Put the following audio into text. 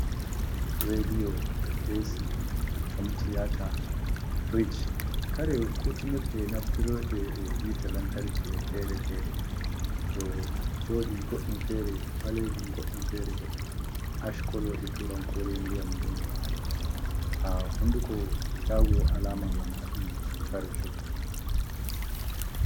Radiyo asi homtiata, frich, kare kutinir ɗe naftrde e hite lantarki fere-fere ɗo joɗi goɗɗum fere ɓalejin goɗɗum fere bo ash kolo e turan kore ndiyam nɗodi nɗodi ha hunduko shago alama banaɗum kare shoggu.